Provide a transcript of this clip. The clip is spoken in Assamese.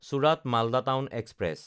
চোৰাত–মালদা টাউন এক্সপ্ৰেছ